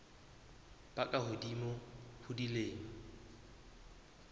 ba ka hodimo ho dilemo